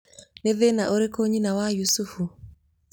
nĩ thĩna ũrĩkũ nyina wa Yusufu?